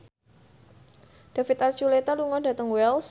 David Archuletta lunga dhateng Wells